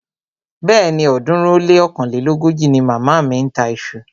Bẹ́ẹ̀ni, ọ̀ọ́dúnrún ó lé ọ̀kánlélógójì ni màmá mi ń ta iṣu